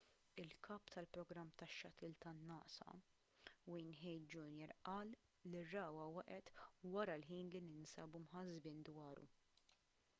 il-kap tal-programm tax-shuttle tan-nasa n wayne hale jr qal li r-ragħwa waqgħet wara l-ħin li ninsabu mħassbin dwaru